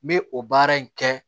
N bɛ o baara in kɛ